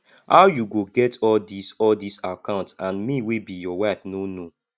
how you go get all dis all dis account and me wey be your wife no know